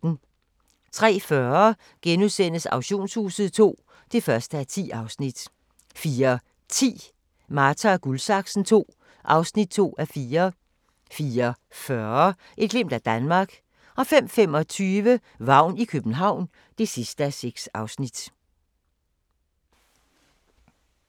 03:40: Auktionshuset II (1:10)* 04:10: Marta & Guldsaksen II (2:4) 04:40: Et glimt af Danmark 05:25: Vagn i København (6:6)